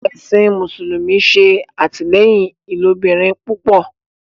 Ẹsìn mùsùlùmí ṣe atilẹyin ilobirin púpọ